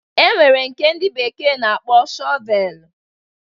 E nwere nke ndị bekee na-akpọ Shọvelu.